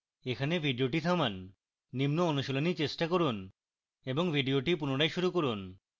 এখানে video থামান নিম্ন অনুশীলনী চেষ্টা করুন এবং video পুনরায় শুরু করুন